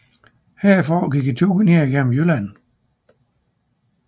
Herfra gik turen ned gennem Jylland